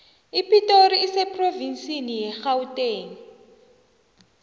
ipitori iseprovnsini yegauteng